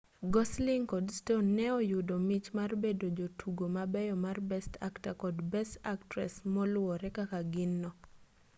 gosling kod stone ne oyudo mich mar bedo jotugo mabeyo mar best actor kod best actress moluwore kaka gin no